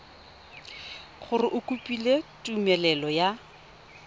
gore o kopile tumelelo ya